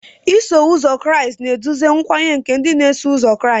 Iso ụzọ Kraịst na-eduzi nkwenye nke ndị na-eso ụzọ Kraịst.